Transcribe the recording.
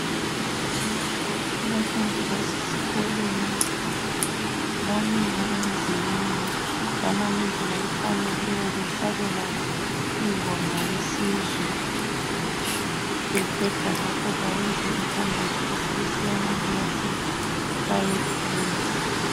Abafundi basesikolweni bamile emzileni bama ngendlela efaneleyo behlabela ingoma yesizwe beqeda lapho bayenze umthandazo besebesiya emakilasini bayefunda.